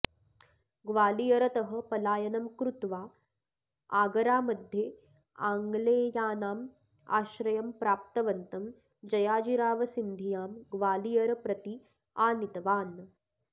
ग्वालियर्तः पलायनं कृत्वा आगरामध्ये आङ्ग्लेयानाम् आश्रयं प्राप्तवन्तं जयाजीरावसिन्धियां ग्वालियर् प्रति आनीतवान्